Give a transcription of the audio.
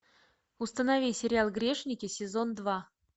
установи сериал грешники сезон два